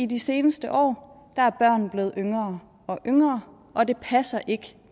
de seneste år er børn blevet yngre og yngre og det passer ikke